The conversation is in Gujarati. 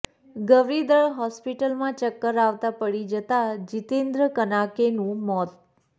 ગવરીદળ હોસ્પિટલમાં ચક્કર આવતા પડી જતા જીતેન્દ્ર કનાકેનું મોત